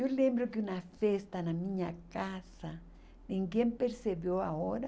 Eu lembro que uma festa na minha casa, ninguém percebeu a hora.